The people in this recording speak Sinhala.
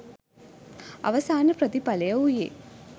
අවසාන ප්‍රතිඵලය වූයේ